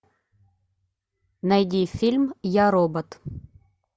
найди фильм я робот